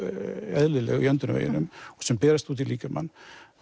óeðlileg í öndunarveginum sem berast út í líkamann